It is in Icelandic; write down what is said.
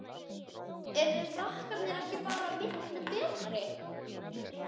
Eru Frakkar ekki bara miklu betri?